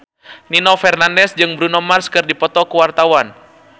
Nino Fernandez jeung Bruno Mars keur dipoto ku wartawan